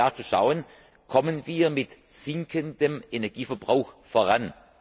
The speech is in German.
h. Jahr für Jahr zu schauen Kommen wir mit sinkendem Energieverbrauch voran?